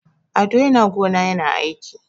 Ado yana gona yana aiki.